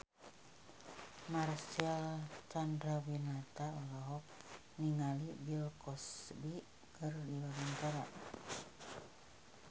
Marcel Chandrawinata olohok ningali Bill Cosby keur diwawancara